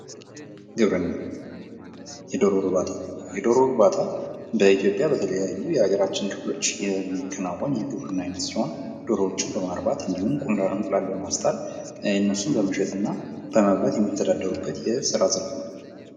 ግብርና፦ የዶሮ እርባታ ፦ የዶሮ እርባታ በኢትዮጵያ በተለያዩ የሀገራችን ክፍሎች የሚከናወን የግብርና አይነት ሲሆን ዶሮችን በማርባት እንዲሁም እንቁላል በማስጣል ፤ እነሱን በመሸጥ እና በመብላት የሚተዳደሩበት የስራ ዘርፍ ነው ።